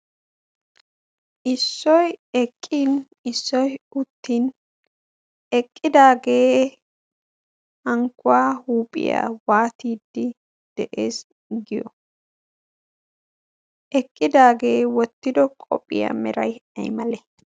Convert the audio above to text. Issoy eqqin issoy uttin eqqidaagee hankkuwa huuphiyaa waattide de'ees giyo? eqqidaage wottido qophiya mera aymale?